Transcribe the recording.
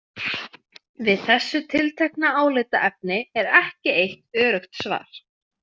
Við þessu tiltekna álitaefni er ekki eitt öruggt svar.